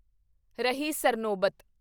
ਰਹੀ ਸਰਨੋਬਤ